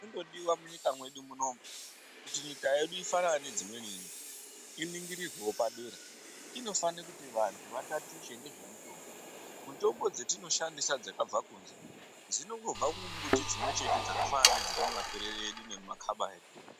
Chinondodiwa munyika medu munomu kuti nyika yedu ifanane nedzimweni nyika, iningirirwewo padera, inofane kuti vanhu vatatiche nezvemutombo, mitombo dzatinoshandisa dzakabva kunze dzinongobva mumiti dzimwe-chete dzakafanana nedziri mumaperere edu nemumakaba edu.